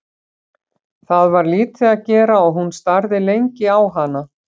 Það var lítið að gera og hún starði lengi á hana.